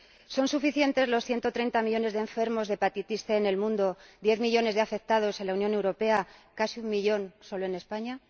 ¿Son suficientes los 130 millones de enfermos de hepatitis C en el mundo, 10 millones de ellos en la Unión Europea, casi 1 millón solo en España?